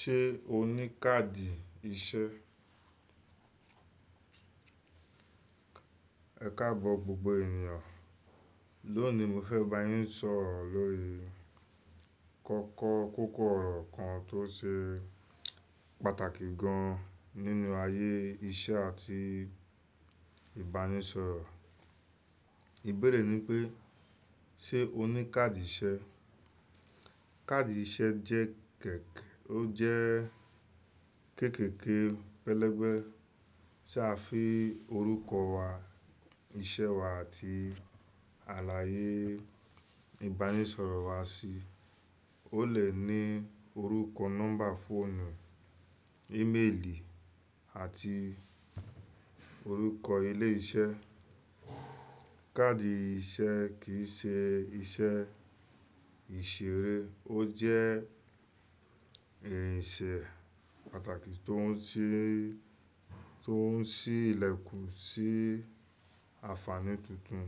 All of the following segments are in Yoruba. Ṣé o ní káàdì iṣẹ́? Ẹ̀káabọ̀ gbogbo ènìyàn, lónìí mo fẹ́ bá yín sọ̀rọ̀ lórí kọ́kọ́ kókó ọ̀rọ̀ kan tó ṣe pàtàkì gan nínú ayé iṣẹ́ àti ìbánisọ̀rọ̀. Ìbéèrè ni pé, ṣe o ní káàdì iṣẹ́? Kaadi iṣẹ́ jẹ́ kẹ̀kẹ́, ó jẹ́ kéékèèké pẹlẹbẹ tí a fi orúkọ wa, iṣẹ́ wa àti àlàyé ìbánisọ̀rọ̀ wa sí. Ó lè ní orúkọ, nọ́mbà fóònù, íméèlì àti orúkọ ilé iṣẹ́. Kaadi iṣẹ́ kì í ṣe iṣẹ́ ìṣeré, ó jẹ́ ẹ̀yìn ìṣe pàtàkì tó ń ṣí ilẹ̀kùn sí àǹfààní tuntun.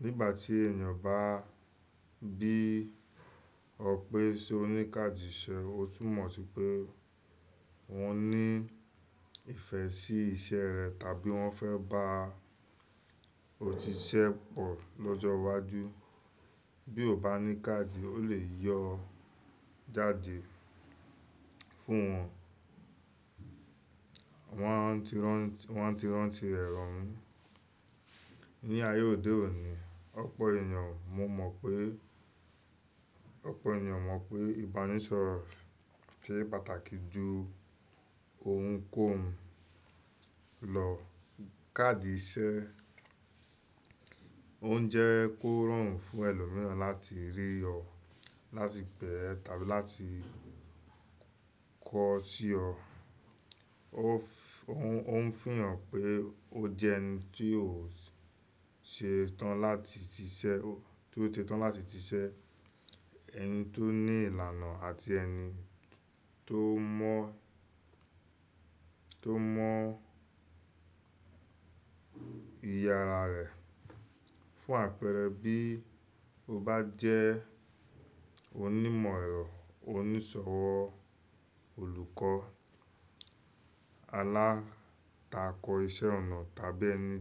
Nígbà tí ènìyàn bá bí ọ pé ṣe o ní káàdì iṣẹ́, o tún mọ̀ si pé wọ́n ní ìfẹ́ sí iṣẹ́ rẹ tàbí wọ́n fẹ́ bá ọ ti iṣẹ́ pọ̀ lọ́jọ́ iwájú. Bí o bá ní káàdì, o lè yọ jáde fún wọn, wọn ti rántí rẹ̀ roún. Ní ayé òde òní, ọ̀pọ̀ ọpọ ènìyàn mọ̀ pé ìbánisọ̀rọ̀ ṣe pàtàkì ju ohunkóhun lọ. Kaadi iṣẹ́ ọ̀ ń jẹ́ kó rọrùn fún ẹlòmíràn láti rí ọ, láti gbẹ́ tàbí láti kọ̀ ọ́ tí ọ. Ó ń fihàn pé o jẹ́ ẹni tí ó ṣe tán láti ti iṣẹ́, ẹni tó ní ìlànà àti ẹni tó mọ ìyára rẹ̀. Fún àpẹẹrẹ bí o bá jẹ́ onímọ̀ ẹ̀rọ, onísọ̀wọ́, olùkọ́ alátakọ iṣẹ́ ọnà tàbí ẹni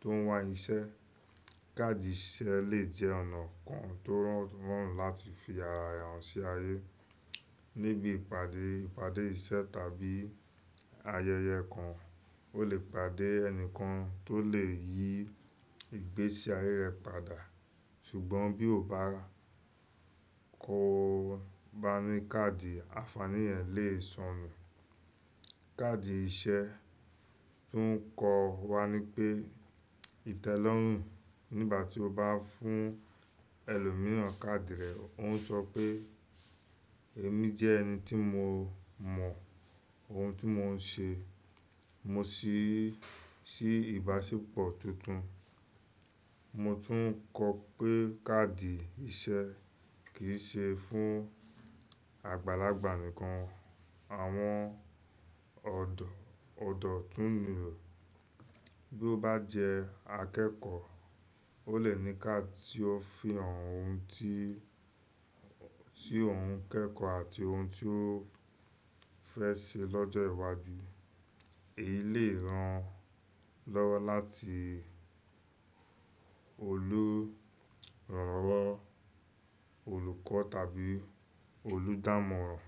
tó ń wá iṣẹ́, káàdì iṣẹ́ lè jẹ́ ọ̀nà kan tó rọrùn láti fi ara rẹ hàn sí ayé. Níbi ìpàdé iṣẹ́ tàbí ayẹyẹ kan, o lè pàdé ẹni kan tó lè yí ìgbésẹ̀ ayé rẹ padà. Ṣùgbọ́n bí o bá kò bá ní káàdì, àǹfààní yẹn lè sọnù. Kaadi iṣẹ́ tún ń kọ wá ní pé ìtẹ́lọ́rùn. Nígbà tí o bá fún ẹlòmíràn káàdì rẹ, ó ń sọ pé èmi jẹ́ ẹni tí mo mọ ohun tí mò ń ṣe, mo sì sí ìbáṣepọ̀ tuntun. Mo tún ń kọ pé káàdì iṣẹ́ kì í ṣe fún àgbàlagbà nìkan. Àwọn ọ̀dọ́ tún ní rẹ̀. Bí o bá jẹ́ akẹ́kọ̀ọ́, o lè ní káàdì tí ó fi hàn ohun tí òun ń kẹ́kọ̀ọ́ àti ohun tí ó fẹ́ ṣe lọ́jọ́ iwájú. Èyí lè ran lọ́wọ́ láti olùrànlọ́wọ́, olùkọ́ tàbí olùdámọ̀ràn.